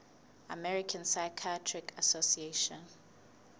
american psychiatric association